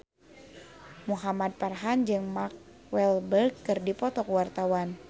Muhamad Farhan jeung Mark Walberg keur dipoto ku wartawan